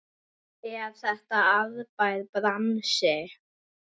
Er þetta arðbær bransi?